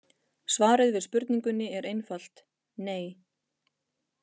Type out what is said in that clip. Svarið við spurningunni er einfalt: nei.